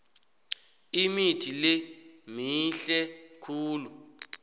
imithi le mihle khulu